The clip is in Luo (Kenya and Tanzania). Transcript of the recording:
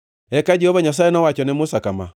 Eka Jehova Nyasaye nowacho ne Musa kama: